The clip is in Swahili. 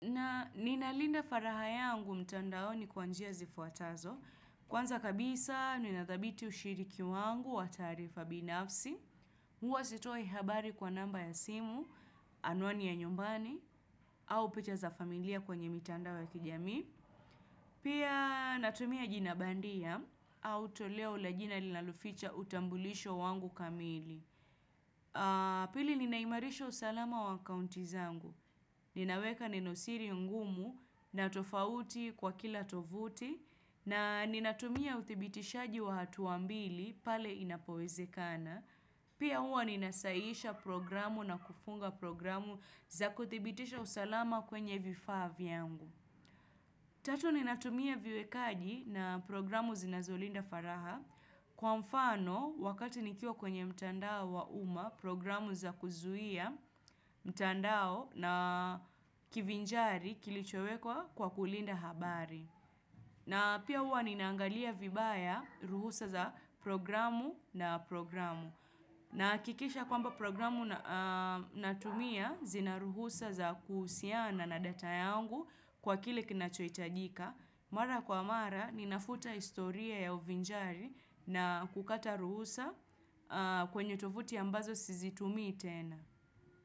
Na ninalinda faraha yangu mtandao ni kwanjia zifuatazo. Kwanza kabisa, nina thabiti ushiriki wangu wa taarifa binafsi. Huwa sitoi habari kwa namba ya simu, anwani ya nyumbani, au picha za familia kwenye mtandao ya kijami. Pia natumia jina bandia, au toleo la jina linaloficha utambulisho wangu kamili. Pili ninaimarisha usalama wa akaunti zangu. Ninaweka nenosiri ngumu na tofauti kwa kila tovuti na ninatumia udhibitishaji wa hatua mbili pale inapoweze kana. Pia uwa nina sahihisha programu na kufunga programu za kuthibitisha usalama kwenye vifavya angu. Tatu ninatumia viwekaji na programu zinazolinda faraha. Kwa mfano, wakati nikiwa kwenye mtandao wa uma, programu za kuzuia mtandao na kivinjari kilichowekwa kwa kulinda habari. Na pia uwa ninaangalia vibaya ruhusa za programu na programu. Nahakikisha kwamba programu natumia zina ruhusa za kuhusiana na data yangu kwa kile kinachoitajika. Mara kwa mara, ninafuta historia ya uvinjari na kukata ruhusa kwenye tovuti ambazo sizi tumi itena.